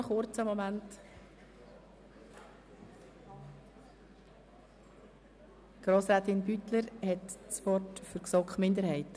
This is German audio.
Ich übergebe Grossrätin Beutler das Wort für die GSoK-Minderheit.